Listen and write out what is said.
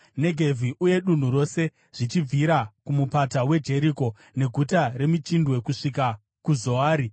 Negevhi uye dunhu rose zvichibvira kuMupata weJeriko. Neguta remichindwe, kusvika kuZoari.